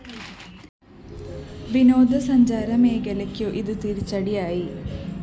വിനോദസഞ്ചാര മേഖലയ്ക്കും ഇത് തിരച്ചടിയായി